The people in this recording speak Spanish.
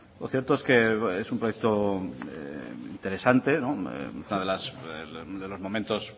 lo cierto es que es un proyecto interesante uno de los momentos